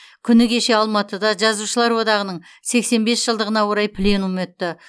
күні кеше алматыда жазушылар одағының сексен бес жылдығына орай пленум өтті